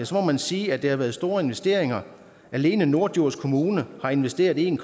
så må man sige at det har været store investeringer alene norddjurs kommune har investeret en